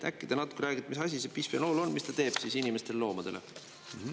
Äkki te natuke räägite, mis asi see bisfenool on, mis ta teeb inimestele ja loomadele?